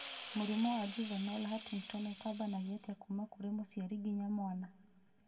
Mũrimũ wa Juvenile Huntington ũtambanagio atĩa kuma kũrĩ mũciari nginya mwana